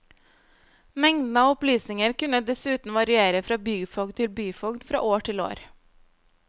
Mengden av opplysninger kunne dessuten variere fra byfogd til byfogd, fra år til år.